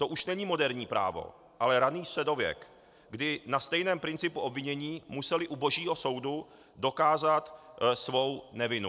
To už není moderní právo, ale raný středověk, kdy na stejném principu obvinění museli u božího soudu dokázat svou nevinu.